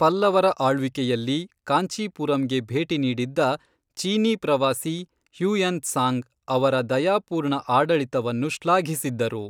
ಪಲ್ಲವರ ಆಳ್ವಿಕೆಯಲ್ಲಿ ಕಾಂಚೀಪುರಂಗೆ ಭೇಟಿ ನೀಡಿದ್ದ ಚೀನೀ ಪ್ರವಾಸಿ ಹ್ಯುಯೆನ್ ತ್ಸಾಂಗ್ ಅವರ ದಯಾಪೂರ್ಣ ಆಡಳಿತವನ್ನು ಶ್ಲಾಘಿಸಿದ್ದರು.